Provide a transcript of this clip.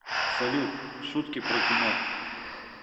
салют шутки про кино